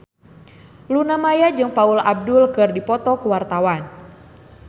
Luna Maya jeung Paula Abdul keur dipoto ku wartawan